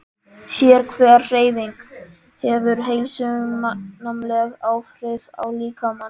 Sérhver hreyfing hefur heilsusamleg áhrif á líkamann.